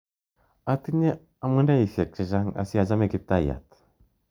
Atinye amuneiayek che chang' asiachame Kiptaiyat.